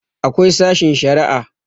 akwai sashin Sharia